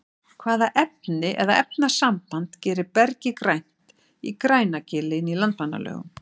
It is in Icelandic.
hvaða efni eða efnasamband gerir bergið grænt í grænagili inn í landmannalaugum